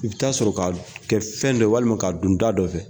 I bɛ taa sɔr'o ka kɛ fɛn dɔ walima k'a dɔn da dɔ fɛ